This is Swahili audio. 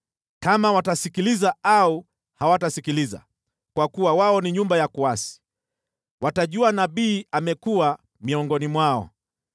Kama watasikiliza au hawatasikiliza, kwa kuwa wao ni nyumba ya kuasi, watajua nabii amekuwa miongoni mwao.